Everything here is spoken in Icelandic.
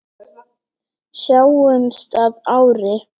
Sjáumst að ári.